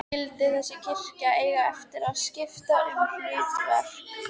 Skyldi þessi kirkja eiga eftir að skipta um hlutverk?